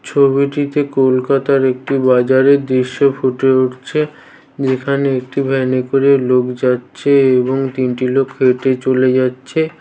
ছবিটিতে কলকাতার একটি বাজারের দৃশ্য ফুটে উঠছে যেখানে একটি ভ্যানে করে লোক যাচ্ছে এবং তিনটি লোক হেঁটে চলে যাচ্ছে ।